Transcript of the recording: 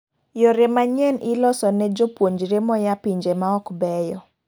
yore manyien iloso ne jopuonjre moya pinje maok beyo